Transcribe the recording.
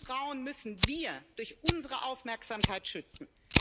diese Frauen müssen wir durch unsere Aufmerksamkeit schützen.